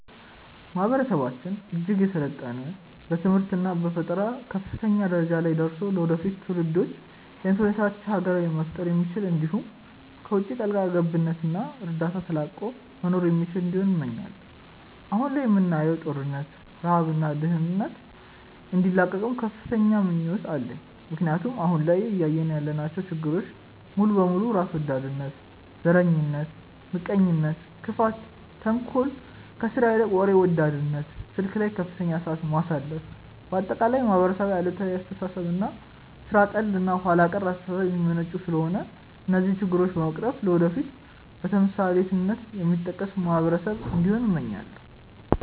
ማህበረሰባችን እጅግ የሰለጠነ በትምህርት እና በፈጠራ ከፍተኛ ደረጃ ላይ ደርሶ ለወደፊት ትውልዶች የተመቻች ሀገር መፍጠር የሚችል እንዲሁም ከውቺ ጣልቃ ገብነት እና እርዳታ ተላቆ መኖር የሚችል እንዲሆን እመኛለው። አሁን ላይ የምናየውን ጦርነት፣ ረሃብ እና ድህነት እንዲላቀቅም ከፍተኛ ምኞት አለኝ ምክንያቱም አሁን ላይ እያየን ያለናቸው ችግሮች ሙሉ በሙሉ በራስ ወዳድነት፣ ዘረኝነት፣ ምቀኝነት፣ ክፋት፣ ተንኮል፣ ከስራ ይልቅ ወሬ ወዳድነት፣ ስልክ ላይ ከፍተኛ ሰዓት ማሳለፍ፣ በአጠቃላይ ከማህበረሰብ አሉታዊ አስተሳሰብ እና ሥራ ጠል እና ኋላ ቀር አስተሳሰብ የሚመነጩ ስለሆነ እነዚህን ችግሮች በመቅረፍ ለወደፊት በተምሳሌትነት የሚጠቀስ ማህበረሰብ እንዲሆን እመኛለው።